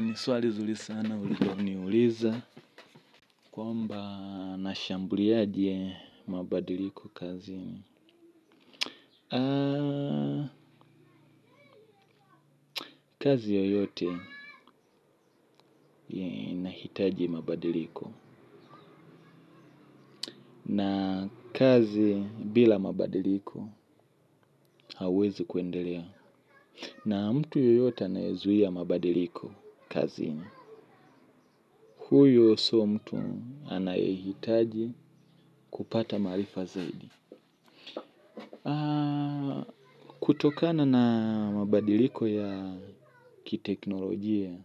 Ni swali zuri sana, ulioniuliza. Kwamba nashambuliaje mabadiliko kazini. Kazi yoyote inahitaji mabadiliko. Na kazi bila mabadiliko hauwezi kuendelea. Na mtu yoyote anayezuia mabadiliko kazini. Huyo si mtu anayohitaji kupata maarifa zaidi. Kutokana na mabadiliko ya kiteknolojia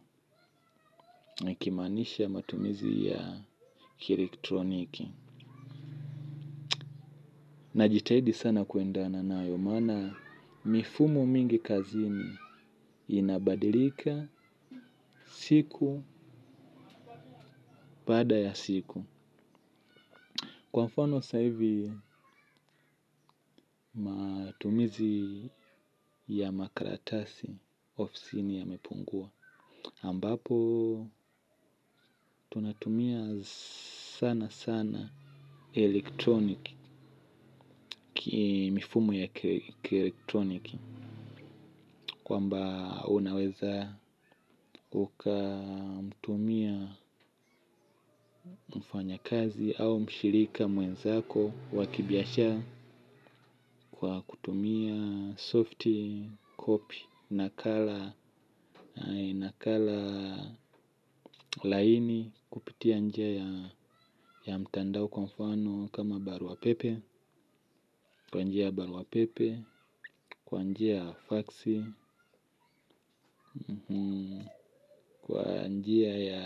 kimaanishe matumizi ya kielektroniki. Najitahidi sana kuendana nayo maana mifumo mingi kazini inabadilika siku baada ya siku. Kwa mfano saa hivi matumizi ya makaratasi ofisini yamepungua ambapo tunatumia sana sana elektroniki, mifumo ya kielektroniki kwamba unaweza ukamtumia mfanyakazi au mshirika mwenzako wa kibiasha. Kwa kutumia softikopi, nakala laini kupitia njia ya mtandao kwa mfano kama barua pepe. Kwa njia ya baruapepe. Kwa njia ya faksi. Kwa njia ya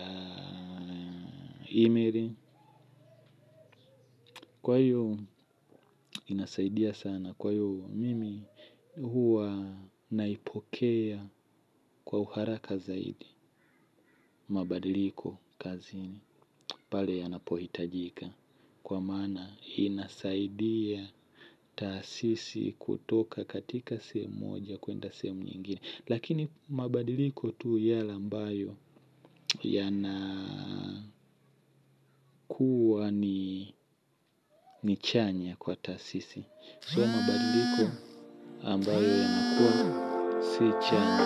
email. Kwa hiyo inasaidia sana. Kwa hiyo mimi huwa naipokea kwa uharaka zaidi. Mabadiliko kazini pale yanapohitajika kwa maana inasaidia taasisi kutoka katika sehemu moja kuenda sehemu nyingine lakini mabadiliko tu yale ambayo yanakuwa ni ni chanya kwa taasisi So mabadiliko ambayo yanakuwa si chanya.